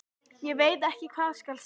Ég veit ekki hvað skal segja.